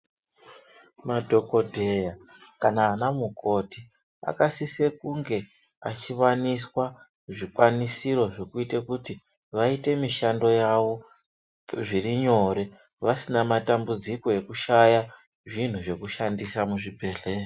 Madhokodheya kana ana mukoti akasisa kunge achiwaniswa zvikwanisiro zvekuita kuti vaite mishando yawo zviri nyore vasina matambudziko ekushaya zvinhu zvekushandisa muzvibhedhlera.